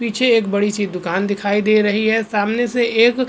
पीछे एक बड़ी सी दुकान दिखाई दे रही है सामने से एक --